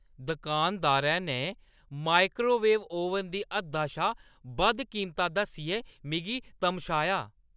दुकानदारै ने microwave oven दी हद्दा शा बद्ध कीमत दस्सियै मिगी तमशाया।